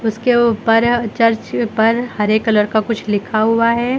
उसके ऊपर चर्च पर हरे कलर का कुछ लिखा हुआ है।